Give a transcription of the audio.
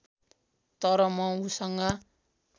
तर म उसँग